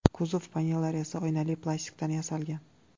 Kuzov panellari esa oynali plastikdan yasalgan.